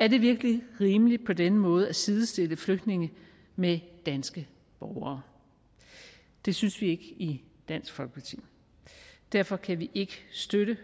er det virkelig rimeligt på denne måde at sidestille flygtninge med danske borgere det synes vi ikke i dansk folkeparti derfor kan vi ikke støtte